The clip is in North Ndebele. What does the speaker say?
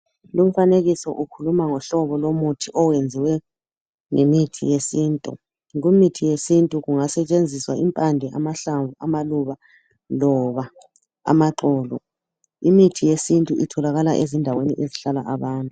Lumfanekiso ukhuluma ngohlobo lomuthi owenziwe ngemithi yesintu. Kumithi yesintu kungasetshenziswa impande, amahlamvu, amaluba loba amaxolo. Imithi yesintu itholakala ezindaweni ezihlala abantu.